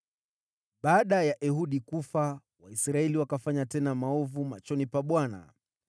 Baada ya Ehudi kufa, Waisraeli wakafanya tena maovu machoni pa Bwana .